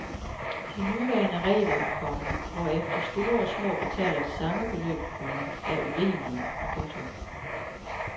De nuværende regler, komma hvorefter store og små betaler det samme beløb, komma er urimelige. punktum